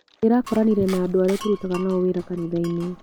Ndĩrakoranire na andũ aria tũrutaga nao wĩra kanithainĩ.